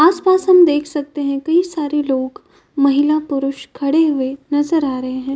आसपास हम देख सकते हैं कई सारे लोग महिला पुरुष खड़े हुए नजर आ रहे हैं।